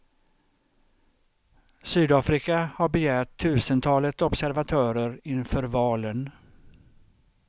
Sydafrika har begärt tusentalet observatörer inför valen.